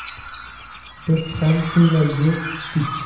Biz ham shunday yo‘l tutdik.